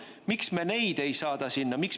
Miks me neid ei saada sinna?